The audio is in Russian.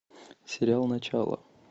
сериал начало